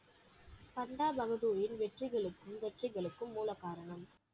சந்தா பகதூரில் வெற்றிகளுக்கும் வெற்றிகளுக்கும் மூலகாரணம்